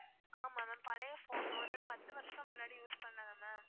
ஆமா ma'am பழைய phone ஒரு பத்து வருஷம் முன்னாடி use பண்ணது ma'am